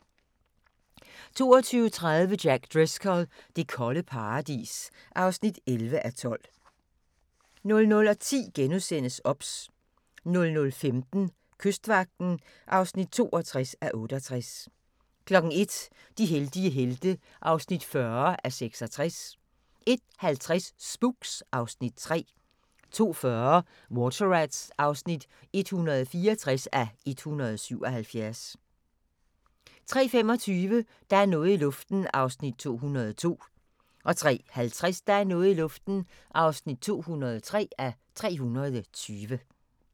22:30: Jack Driscoll – det kolde paradis (11:12) 00:10: OBS * 00:15: Kystvagten (62:68) 01:00: De heldige helte (40:66) 01:50: Spooks (Afs. 3) 02:40: Water Rats (164:177) 03:25: Der er noget i luften (202:320) 03:50: Der er noget i luften (203:320)